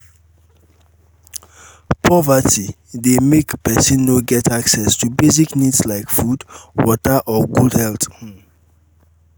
poverty um de make um persin no get access to basic needs like food wtaer or good health um